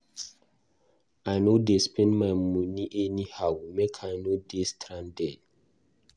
I no dey spend my money anyhow, make I no dey stranded.